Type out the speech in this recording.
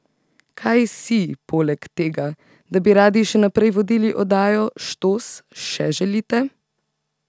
Kaj si, poleg tega, da bi radi še naprej vodili oddajo Štos, še želite?